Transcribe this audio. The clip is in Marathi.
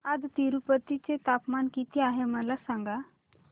आज तिरूपती चे तापमान किती आहे मला सांगा